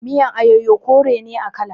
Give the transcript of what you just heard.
Miyan ayoyo kore ne a kala.